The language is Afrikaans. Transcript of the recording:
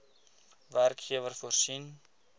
werkgewer voorsien